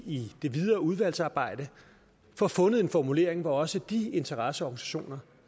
i det videre udvalgsarbejde får fundet en formulering hvor også de interesseorganisationer